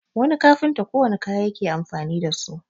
wani kafinta kowanne kaya yake amfani da su